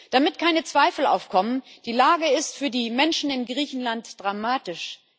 Damit keine Zweifel aufkommen Die Lage ist für die Menschen in Griechenland dramatisch.